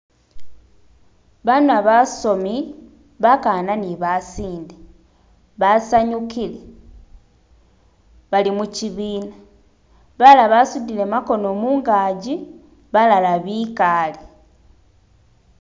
Abana basomi, bakana ni basinde basanyukile balimushibina balala basudile gamakono munganji balala bikaale.